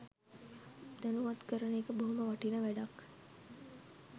දැනුවත් කරන එක බොහොම වටිනා වැඩක්.